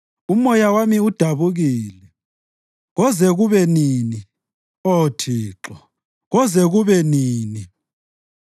Umoya wami udabukile. Koze kube nini, Oh Thixo, koze kube nini?